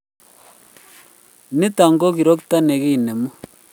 Nitok ko kirokto ne kinemu